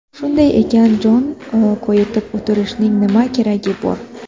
Shunday ekan, jon koyitib o‘tirishning nima keragi bor?